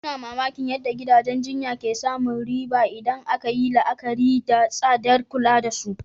Ina mamakin yadda gidajen jinya ke samun riba idan aka yi la'akari da tsadar kula da su.